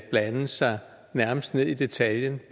blande sig nærmest ned i detaljen